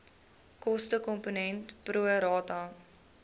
kostekomponent pro rata